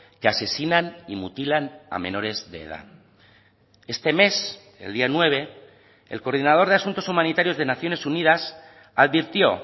que asesinan y mutilan a menores de edad este mes el día nueve el coordinador de asuntos humanitarios de naciones unidas advirtió